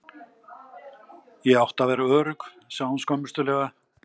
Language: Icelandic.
Ég átti að vera örugg, sagði hún skömmustulega.